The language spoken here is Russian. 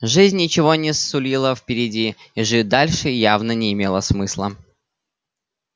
жизнь ничего не сулила впереди и жить дальше явно не имело смысла